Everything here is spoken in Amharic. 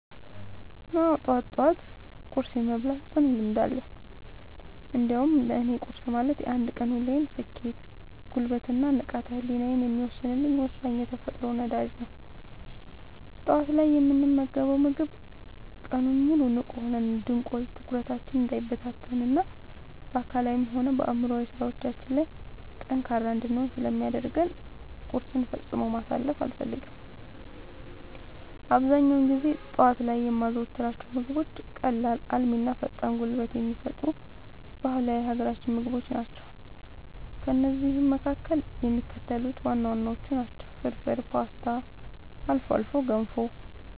አዎ፣ ጠዋት ጠዋት ቁርስ የመብላት ጽኑ ልምድ አለኝ። እንዲያውም ለእኔ ቁርስ ማለት የአንድ ቀን ውሎዬን ስኬት፣ ጉልበት እና ንቃተ ህሊናዬን የሚወሰን ወሳኝ የተፈጥሮ ነዳጅ ነው። ጠዋት ላይ የምንመገበው ምግብ ቀኑን ሙሉ ንቁ ሆነን እንድንቆይ፣ ትኩረታችን እንዳይበታተን እና በአካላዊም ሆነ በአእምሯዊ ስራዎቻችን ላይ ጠንካራ እንድንሆን ስለሚያደርገን ቁርስን ፈጽሞ ማሳለፍ አልፈልግም። አብዛኛውን ጊዜ ጠዋት ላይ የማዘወትራቸው ምግቦች ቀላል፣ አልሚ እና ፈጣን ጉልበት የሚሰጡ ባህላዊ የሀገራችንን ምግቦች ናቸው። ከእነዚህም መካከል የሚከተሉት ዋና ዋናዎቹ ናቸው፦ ፍርፍር: ፖስታ: አልፎ አልፎ ገንፎ